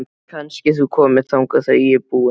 Kannski þú komir þangað þegar ég er búin?